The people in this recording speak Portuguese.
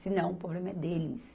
Se não, o problema é deles.